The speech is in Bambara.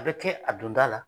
A bɛ kɛ a donda la.